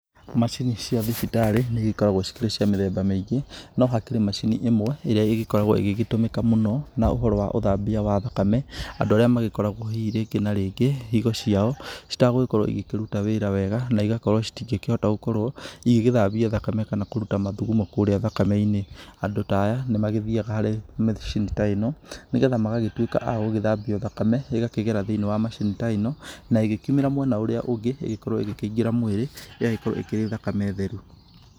Macini cia thibitarĩ nĩigĩkoragwo cikĩrĩ cia mithemba mĩingi, no hakĩrĩ macini ĩmwe ĩrĩa ĩgĩkoragwo ĩgĩgĩtũmĩka mũno na ũhoro wa uthambia wa thakame. Andũ arĩa magĩkoragwo hihi rĩngĩ na rĩngĩ higo ciao citagũgĩkorwo igĩkĩruta wĩra wega, na igakorwo citĩngĩkĩhota gũkorwo igĩgĩthambia thakame kana kũruta mathugumo kũrĩa thakame-inĩ. Andũ ta aya nĩmagĩthiyaga harĩ macini ta ĩno nigetha magagĩtuĩka a gũgĩthambio thakame, ĩgakĩgera thĩ-inĩ wa macini ta ĩno, na ĩgĩkiumĩra mwena ũrĩa ũngĩ ĩgĩkorwo ĩkĩingĩra mwĩrĩ, ĩgagĩkorwo ĩkĩrĩ thakame theru.